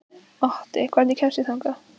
Otti, hvernig kemst ég þangað?